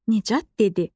Nicat dedi.